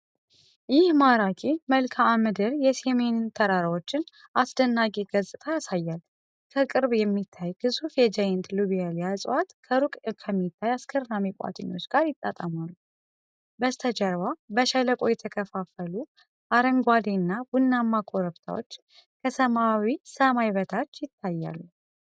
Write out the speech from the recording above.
ይህ ማራኪ መልክዓ ምድር የሲሚን ተራራዎችን አስደናቂ ገጽታ ያሳያል። ከቅርብ የሚታየው ግዙፍ የጃይንት ሎቤሊያ እፅዋት ከሩቅ ከሚታዩት አስገራሚ ቋጥኞች ጋር ይጣጣማሉ። በስተጀርባ በሸለቆ የተከፋፈሉ አረንጓዴና ቡናማ ኮረብታዎች ከሰማያዊ ሰማይ በታች ይታያሉ።